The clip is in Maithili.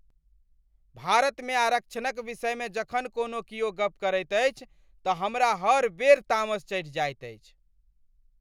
भारतमे आरक्षणक विषयमे जखन कोनो किओ गप करैत अछि तऽ हमरा हर बेर तामस चढ़ि जायत अछि।